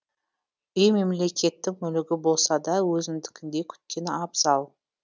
үй мемлекеттің мүлігі болса да өзіңдікіндей күткен абзал